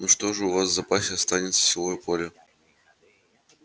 ну что же у вас в запасе останется силовое поле